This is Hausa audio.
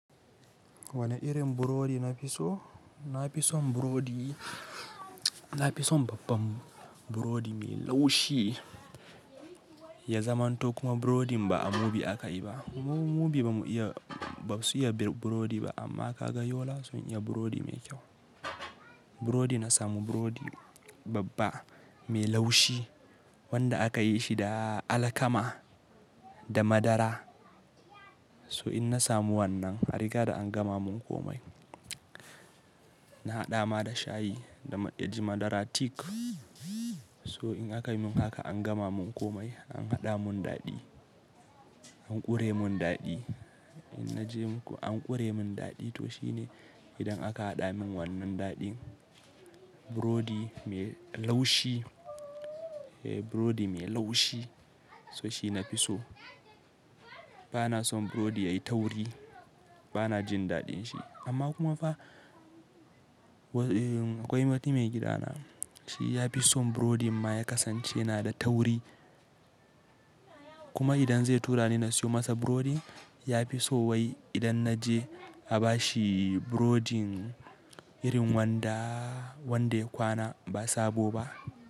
Wane irin burodi nafi so? Nafi son burodi, na fi son babban burodi mai laushi ya zamanto kuma burodin ba a mubi aka yi ba. Muɓi bamu iya-- ba su iya bir burodi ba amma ka ga yola sun iya burodi mai kyau. Burodi na samu burodi babba mai laushi wanda aka yi shi da alkama da madara. So in na samu wannan, a riga da an gama mun komai. Na haɗa ma da shayi da a ji madara thick. So in aka yi mun haka an gama mun komai, an haɗa mun daɗi, an ƙure mun daɗi. In naje muku an ƙure mun daɗi to shine. Idan aka haɗa mun wannan daɗin burodi mai laushi, --burodi mai laushi. So shi na fi so. Ba na son burodi ya yi tauri, ba na jin daɗin shi amma kuma fa akwai wata maigidana shi ya fi son burodin ma ya kasance na da tauri. Kuma idan zai tura ni na siyo masa burodi, ya fi so wai idan naje a ba shi burodin irin wanda wanda kwana ba sabo ba.